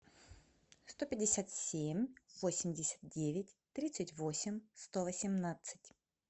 сто пятьдесят семь восемьдесят девять тридцать восемь сто восемнадцать